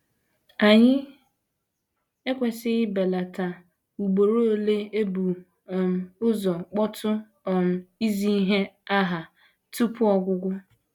Anyị ekwesịghị ibelata ugboro ole e bu um ụzọ kpọtụ um izi ihe aha tupu ọgwụgwọ.